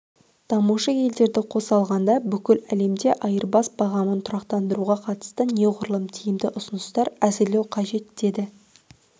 дамушы елдерді қоса алғанда бүкіл әлемде айырбас бағамын тұрақтандыруға қатысты неғұрлым тиімді ұсыныстар әзірлеу қажет деді